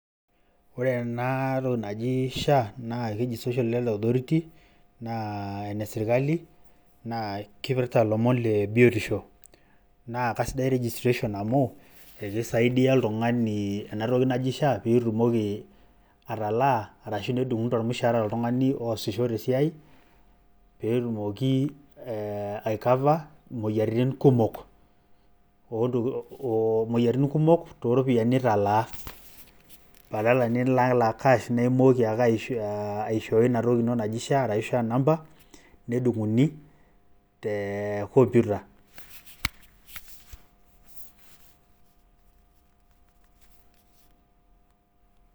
Ore ena toki naji sha ,naa keji social health authority naa ene sirkali naa kipirta ilomon le biotisho. Naa kasidai registration amu ekisaidia oltungani ena toki naji sha petumoki atalaa ashu nedunguni tormushara oltungani oosisho te siai petumoki ai cover moyiaritin kumok . moyiaritin kumok toropiyian nilataa badala nilalak cash niaku imooki ake aishooyo inatoki naji sha ashu shaa number nedunguni te te computer .